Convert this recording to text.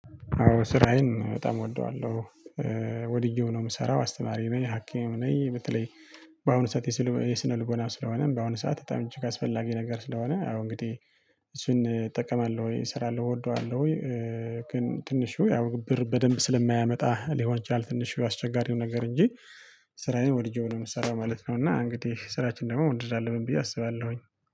አዎ ስራዬን በጣም እወደዋለሁ። ወድጄው ነው የምሰራው አስተማሪ ነኝ ሀኪምም ነኝ። በተለይ በአሁኑ ሰዓት የስነ ልቦና ስለሆነ በአሁኑ ሰዓት በጣም እጅግ አስፈላጊ ነገር ስለሆነ። አዎ እንግዲህ እሱን እጠቀማለሁ እሰራለሁ እወደዋለሁ ወይ? ግን ትንሽው ያው ብር በደንብ ስለማያመጣ ሊሆን ይችላል። ትንሽ ያው አስቸጋሪው ነገር እንጂ። ስራየን ወድጄው ነው የምሰራው ማለት ነው። እና እንግዲህ ስራችን ደግሞ መውደድ አለብን ብዬ አስባለሁኝ